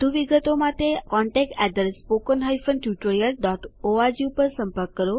વધુ વિગતો માટે અમને contactspoken tutorialorg ઉપર સંપર્ક કરો